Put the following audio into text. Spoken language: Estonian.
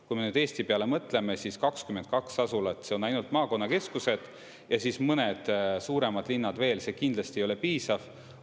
Kui Eesti peale mõtleme, siis 22 asulat, see on ainult maakonnakeskused ja siis mõned suuremad linnad veel, see kindlasti ei ole piisav.